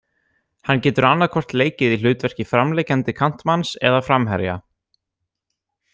Hann getur annaðhvort leikið í hlutverki framliggjandi kantmanns eða framherja.